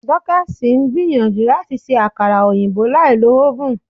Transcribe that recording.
Dorcas ń gbìyànjú láti ṣe àkara òyìnbó láì lo oven.